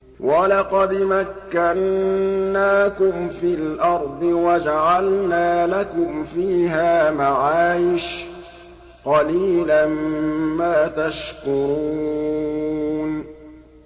وَلَقَدْ مَكَّنَّاكُمْ فِي الْأَرْضِ وَجَعَلْنَا لَكُمْ فِيهَا مَعَايِشَ ۗ قَلِيلًا مَّا تَشْكُرُونَ